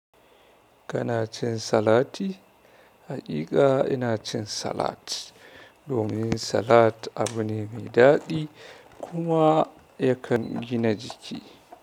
Kana cin salati? Haƙiƙa ina cin salat. Domin salat abu ne mai daɗi kuma yakan gina jiki.